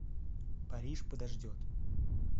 париж подождет